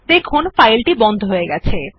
দেখুন এখন ফাইলটি বন্ধ হয়ে গেছে